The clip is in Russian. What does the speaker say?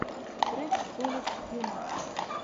трек колледж хьюмор